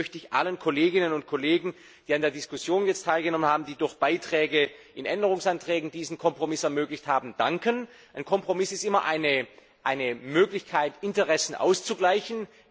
Deswegen möchte ich allen Kolleginnen und Kollegen, die an der Diskussion teilgenommen haben und die durch Beiträge in Änderungsanträgen diesen Kompromiss ermöglicht haben, danken. Ein Kompromiss ist immer eine Möglichkeit, Interessen auszugleichen.